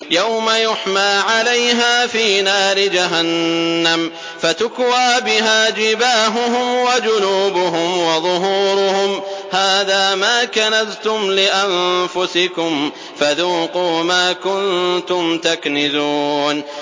يَوْمَ يُحْمَىٰ عَلَيْهَا فِي نَارِ جَهَنَّمَ فَتُكْوَىٰ بِهَا جِبَاهُهُمْ وَجُنُوبُهُمْ وَظُهُورُهُمْ ۖ هَٰذَا مَا كَنَزْتُمْ لِأَنفُسِكُمْ فَذُوقُوا مَا كُنتُمْ تَكْنِزُونَ